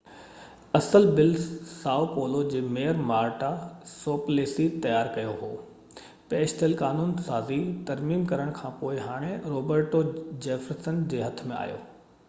اصل بل Sao Paulo جي ميئر مارٽا سوپليسي تيار ڪيو هو پيش ٿيل قانون سازي ترميم ڪرڻ کانپوءِ هاڻي روبرٽو جيفرسن جي هٿ ۾ آهي